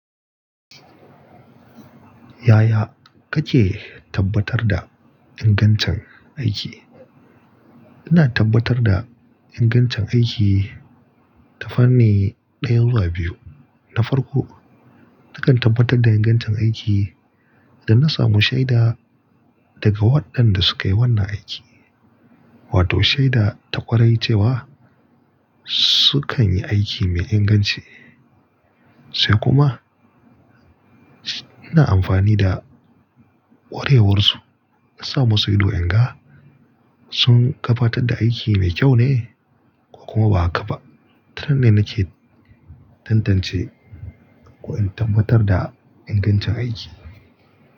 Yaya kake tabbatar da ingancin aiki? Ina tabbatar da ingancin aiki ta fanni ɗaya zuwa biyu. Na farko, nakan tabbatar da ingancin aiki da na samu shaida daga waɗanda suka yi wannan aiki, wato shaida ta ƙwarai cewa sukan yi aiki mai inganci. Sai kuma, ina amfani da. Ƙwarewarsu na sa musu ido in ga sun kabatar da aiki mai kyau ne ko kuma ba haka ba. Tarar ne nake tantance ko in tabbatar da ingancin aiki.